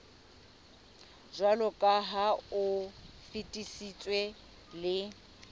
jwaloka ha o fetisitswe le